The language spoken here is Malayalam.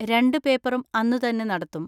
രണ്ടു പേപ്പറും അന്നുതന്നെ നടത്തും.